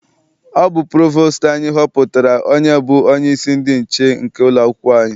Ọ bụ provostu anyị họpụtara onye bụ onyeisi ndị nche nke ụlọakwụkwọ anyị.